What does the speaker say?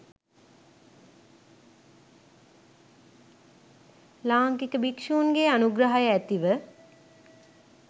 ලාංකික භික්‍ෂූන්ගේ අනුග්‍රහය ඇතිව